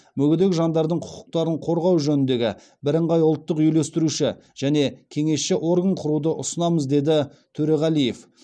мүгедек жандардың құқықтарын қорғау жөніндегі бірыңғай ұлттық үйлестіруші және кеңесші орган құруды ұсынамыз деді төреғалиев